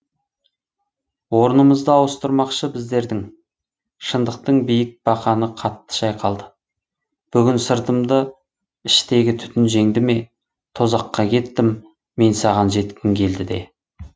орынымызды ауыстырмақшы біздердің шындықтың биік бақаны қатты шайқалды бүтін сыртымды іштегі түтін жеңді ме тозаққа кеттім мен саған жеткім келді де